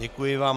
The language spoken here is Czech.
Děkuji vám.